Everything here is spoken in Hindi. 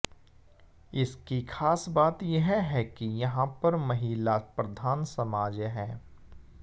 इसकी खास बात यह है कि यहां पर महिला प्रधान समाज है